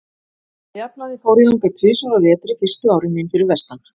Að jafnaði fór ég þangað tvisvar á vetri fyrstu árin mín fyrir vestan.